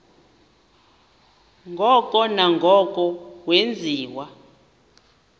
ngoko nangoko wenziwa